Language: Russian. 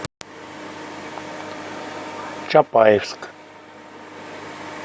чапаевск